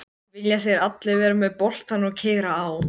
Þú ættir að útvega þér almennileg skilríki.